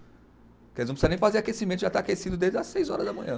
Porque eles não precisa nem fazer aquecimento, já está aquecido desde as seis horas da manhã.